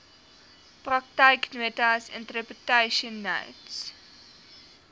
praktyknotas interpretation notes